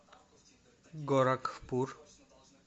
горакхпур